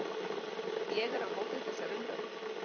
Ég er á móti þessari umræðu.